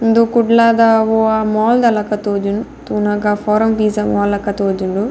ಉಂದು ಕುಡ್ಲದ ಒವ್ವಾ ಮಾಲ್ದ ಲಕ ತೋಜುಂಡು ತೂನಗ ಫೋರಮ್ ಪಿಝ ಮಾಲ್ ಲಕ ತೋಜುಂಡು.